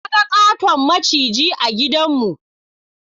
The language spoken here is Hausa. Na ga ƙaton maciji a gidan mu